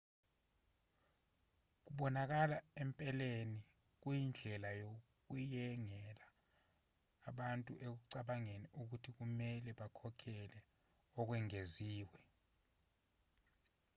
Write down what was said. kubonakala empeleni kuyindlela yokuyengela abantu ekucabangeni ukuthi kumelwe bakhokhele okwengeziwe